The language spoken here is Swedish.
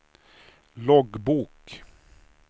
loggbok